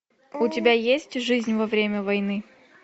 у тебя есть жизнь во время войны